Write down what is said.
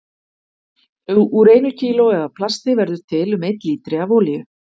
Úr einu kílói af plasti verður til um einn lítri af olíu.